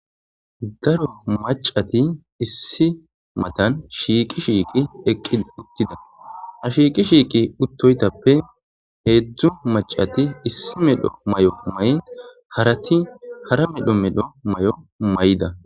daro macati issi matan shiiqi shiiqi eqqi uttida ashiiqi shiiqi uttoytappe heedzdzu macati issi medho may7o may7in harati hara medho medho may7o may7da